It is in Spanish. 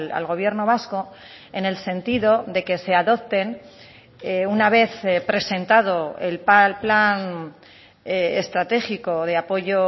al gobierno vasco en el sentido de que se adopten una vez presentado el plan estratégico de apoyo